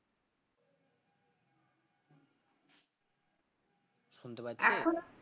শুনতে পাচ্ছিস?